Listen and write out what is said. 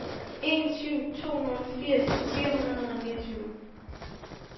en syv to nul firs fire hundrede og niogtyve